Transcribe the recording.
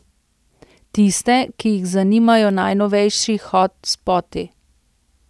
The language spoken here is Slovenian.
Tiste, ki jih zanimajo najnovejši hot spoti.